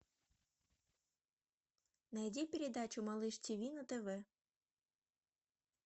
найди передачу малыш тиви на тв